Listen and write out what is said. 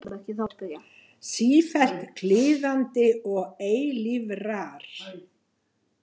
Sífellt kliðandi og eilífrar.